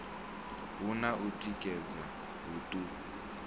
hu na u tikedza huṱuku